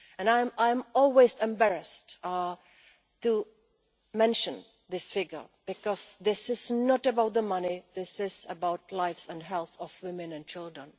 I am always embarrassed to mention this figure because this is not about the money, this is about the life and health of women and children.